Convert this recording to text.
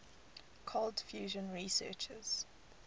cold fusion researchers